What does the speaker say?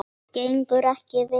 Gengur ekki vel?